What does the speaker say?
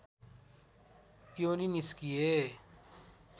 योनि निस्किए